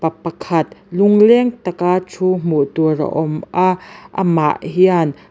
pa pakhat lungleng tak a thu hmuh tur a awm a a man hian--